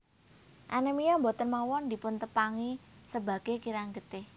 Anemia boten mawon dipun tepangi sebage kirang getih